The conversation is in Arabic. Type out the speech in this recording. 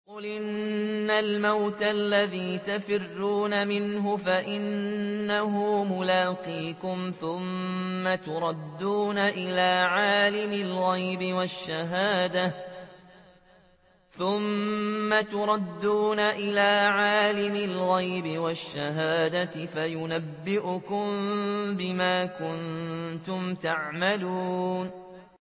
قُلْ إِنَّ الْمَوْتَ الَّذِي تَفِرُّونَ مِنْهُ فَإِنَّهُ مُلَاقِيكُمْ ۖ ثُمَّ تُرَدُّونَ إِلَىٰ عَالِمِ الْغَيْبِ وَالشَّهَادَةِ فَيُنَبِّئُكُم بِمَا كُنتُمْ تَعْمَلُونَ